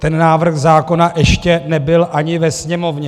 Ten návrh zákona ještě nebyl ani ve Sněmovně.